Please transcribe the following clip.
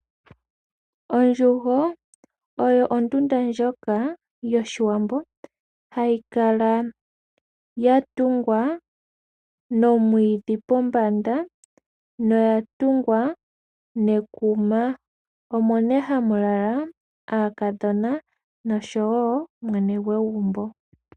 Ondjugo oyo ondunda ndjoka yOshiwambo hayi kala yatungwa nomwiidhi pombanda noya tungwa nekuma. Omo nee hamu kala aakadhona nosho wo mwene gwegumbo.